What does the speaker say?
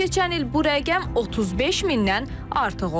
keçən il bu rəqəm 35 mindən artıq olub.